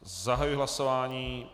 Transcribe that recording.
Zahajuji hlasování.